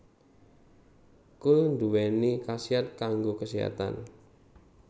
Kul nduwéni khasiat kanggo kaséhatan